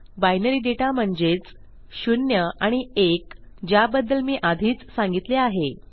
binary दाता म्हणजेच शून्य आणि एक ज्याबद्दल मी आधीच सांगितले आहे